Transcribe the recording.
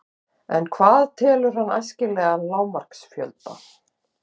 En hvað telur hann æskilegan lágmarksfjölda?